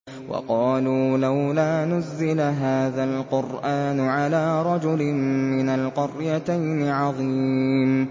وَقَالُوا لَوْلَا نُزِّلَ هَٰذَا الْقُرْآنُ عَلَىٰ رَجُلٍ مِّنَ الْقَرْيَتَيْنِ عَظِيمٍ